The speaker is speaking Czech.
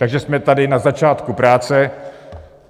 Takže jsme tady na začátku práce.